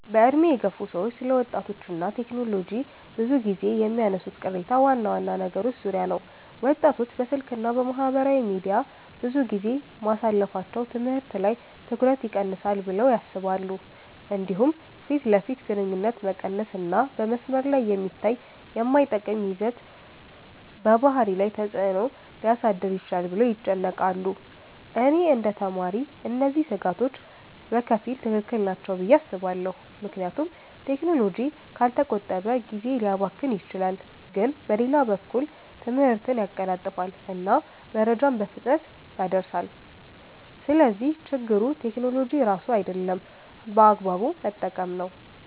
በዕድሜ የገፉ ሰዎች ስለ ወጣቶች እና ቴክኖሎጂ ብዙ ጊዜ የሚያነሱት ቅሬታ ዋና ዋና ነገሮች ዙሪያ ነው። ወጣቶች በስልክ እና በማህበራዊ ሚዲያ ብዙ ጊዜ ማሳለፋቸው ትምህርት ላይ ትኩረት ይቀንሳል ብለው ያስባሉ። እንዲሁም ፊት ለፊት ግንኙነት መቀነስ እና በመስመር ላይ የሚታይ የማይጠቅም ይዘት በባህሪ ላይ ተፅዕኖ ሊያሳድር ይችላል ብለው ይጨነቃሉ። እኔ እንደ ተማሪ እነዚህ ስጋቶች በከፊል ትክክል ናቸው ብዬ አስባለሁ፣ ምክንያቱም ቴክኖሎጂ ካልተቆጠበ ጊዜ ሊያባክን ይችላል። ግን በሌላ በኩል ትምህርትን ያቀላጥፋል እና መረጃን በፍጥነት ያደርሳል። ስለዚህ ችግሩ ቴክኖሎጂ ራሱ አይደለም፣ በአግባቡ መጠቀም ነው።